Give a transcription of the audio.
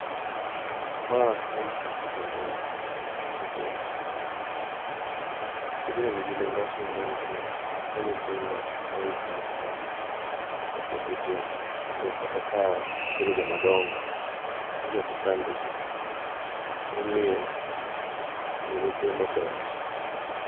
Ma en tich puonjo nyithindo, tijni nigi nengo ahinya nikech omiyo nyithindo ng'eyo gikmoko kapod gitindo. Mondo kata ka gibedo jomadongo to gigi ok chandgi, emomiyo puonjo nyithindo ber.